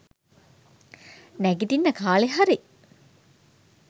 නැගිටින්න කාලෙ හරි.